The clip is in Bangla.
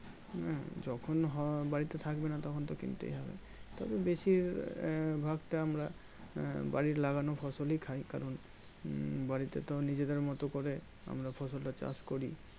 হম যখন হো বাড়িতে থাকবেনা তখন তো কিনতেই হবে তবে বেশি ভাগটা আমরা বাড়ির লাগানো ফসলই খাই কারণ উম বাড়িতে তো নিজেদের মতো করে আমরা ফসলটা চাষ করি